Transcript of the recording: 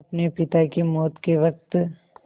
अपने पिता की मौत के वक़्त